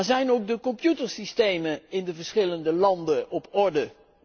Zijn de computersystemen in de verschillende landen op orde?